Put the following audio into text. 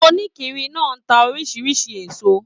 Onikiri náà n tá orisirisi èso